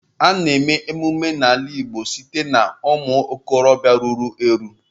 A na-eme emume n'ala Igbo site n'aka ụmụ okorobịa ruru eru.